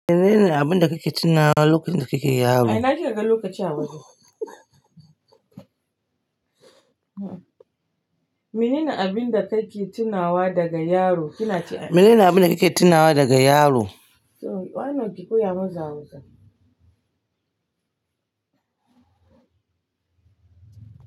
Menene abinda kake tinawa lokacin da kake yaro? Mene ne abin da kake tunawa daga yaro? Kina ce mene ne abin da kike tunawa daga yaro? Why not ki koya masa Hausa?